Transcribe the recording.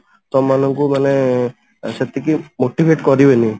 ତମମାନଙ୍କୁ ମାନେ ସେତିକି motivate କରିବେନି